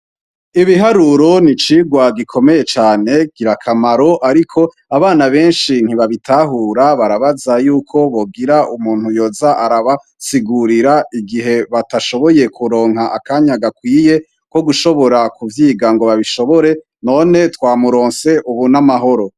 Ibiharuro ni icirwa gikomeye cane girakamaro, ariko abana benshi ntibabitahura barabaza yuko bogira umuntu yoza arabasigurira igihe batashoboye kuronka akanya gakwiye ko gushobora kuvyiga ngo babishobore none twa muronse, ubu n'amahoro.